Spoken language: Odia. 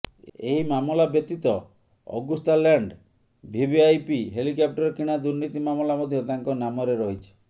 ଏହି ମାମଲା ବ୍ୟତୀତ ଅଗୁସ୍ତାଲ୍ୟାଣ୍ଡ ଭିଭଆଇପି ହେଲିକପ୍ଟର କିଣା ଦୁର୍ନୀତି ମାମଲା ମଧ୍ୟ ତାଙ୍କ ନାମରେ ରହିଛି